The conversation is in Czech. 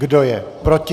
Kdo je proti?